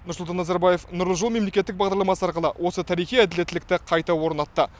нұрсұлтан назарбаев нұрлы жол мемлекеттік бағдарламасы арқылы осы тарихи әділеттілікті қайта орнатты